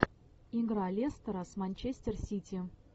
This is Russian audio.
игра лестера с манчестер сити